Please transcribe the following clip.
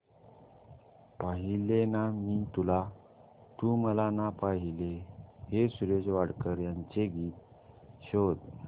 पाहिले ना मी तुला तू मला ना पाहिले हे सुरेश वाडकर यांचे गीत शोध